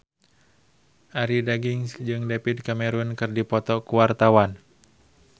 Arie Daginks jeung David Cameron keur dipoto ku wartawan